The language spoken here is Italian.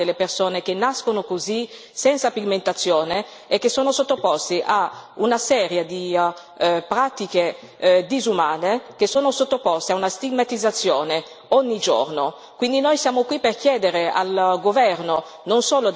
Oggi noi siamo qui per trattare un tema molto delicato sono tante le persone che nascono così, senza pigmentazione, e che sono sottoposte a una serie di pratiche disumane e sottoposte a una stigmatizzazione, ogni giorno.